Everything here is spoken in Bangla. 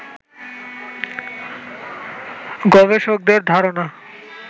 গবেষকদের ধারণা